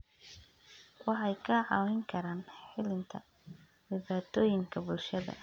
Waxay kaa caawin karaan xallinta dhibaatooyinka bulshada.